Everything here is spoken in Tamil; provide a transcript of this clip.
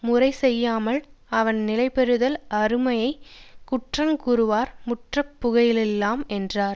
முறை செய்யாமையால் அவன் நிலை பெறுதல் அருமையெனக் குற்றங் கூறுவார் முற்பட புகழில்லையாம் என்றார்